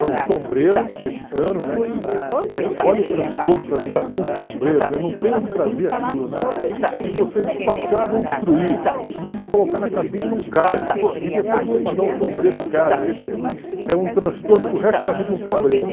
É um sombreiro mexicano, né, que eh olha o transtorno, tra trazer um sombreiro, né? Não tem onde trazer aquilo, né? Se você despachar vão destruir, se você colocar na cabine não cabe, e depois você guardar um sombreiro em casa, quer dizer, é um transtorno para o resto da vida um sombreiro.